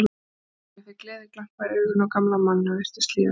Stína fékk gleðiglampa í augun og gamla manninum virtist líða betur.